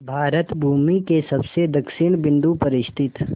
भारत भूमि के सबसे दक्षिण बिंदु पर स्थित